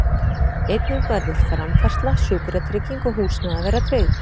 Einnig verður framfærsla, sjúkratrygging og húsnæði að vera tryggð.